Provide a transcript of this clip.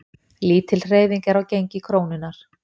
Lítil hreyfing er á gengi krónunnar